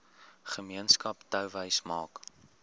gemeenskap touwys maak